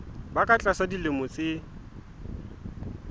ba ka tlasa dilemo tse